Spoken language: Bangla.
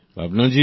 ভাবনা জি